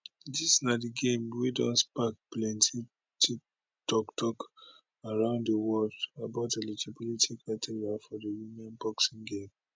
dis na di game wey don spark plenti toktok around di world about eligibility criteria for di women boxing game